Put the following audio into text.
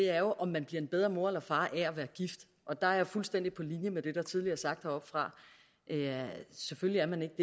er om man bliver en bedre mor eller far af at være gift og der er jeg fuldstændig på linje med det der tidligere er sagt heroppefra selvfølgelig er man ikke